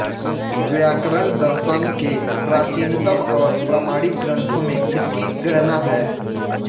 व्याकरण दर्शन के प्राचीनतम और प्रामाणिक ग्रंथों में इसकी गणना है